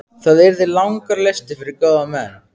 Það yrði langur listi yfir góða menn.